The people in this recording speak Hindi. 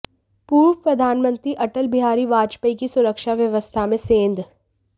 पूर्व प्रधानमंत्री अटल बिहारी वाजपेयी की सुरक्षा व्यवस्था में सेंध